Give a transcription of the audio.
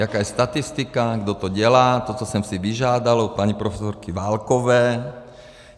Jaká je statistika, kdo to dělá, to, co jsem si vyžádal od paní profesorky Válkové.